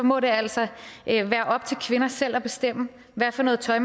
må det altså være op til kvinder selv at bestemme hvad for noget tøj